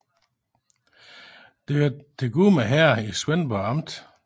Det hørte til Gudme Herred i Svendborg Amt